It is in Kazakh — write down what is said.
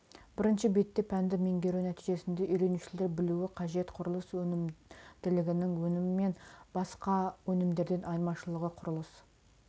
бірінші бетте пәнді меңгеру нәтижесінде үйренушілер білуі қажет құрылыс өнімділігінің өнімі мен басқа өнімдерден айырмашылығы құрылыс